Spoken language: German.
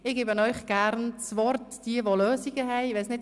Ich gebe gerne denjenigen das Wort, die eine Lösung haben.